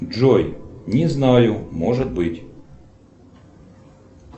джой не знаю может быть